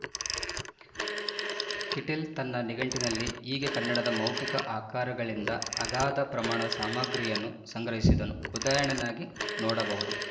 Kittel ತನ್ನ ನಿಘಂಟಿನಲ್ಲಿ ಹೀಗೆ ಕನ್ನಡದ ಮೌಖಿಕ ಆಕರಗಳಿಂದ ಅಗಾಧ ಪ್ರಮಾಣದ ಸಾಮಗ್ರಿಯನ್ನು ಸಂಗ್ರಹಿಸಿದ್ದನ್ನು ಉದಾಹರಣೆನ್ನಾಗಿ ನೋಡಬಹುದು